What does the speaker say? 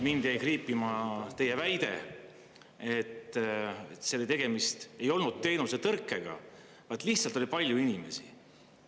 Mind jäi kriipima teie väide, et tegemist ei olnud teenuse tõrkega, vaid lihtsalt oli palju inimesi.